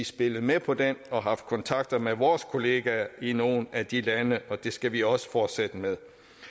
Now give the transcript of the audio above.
spillet med på den og har haft kontakter med vores kollegaer i nogle af de lande og det skal vi også fortsætte med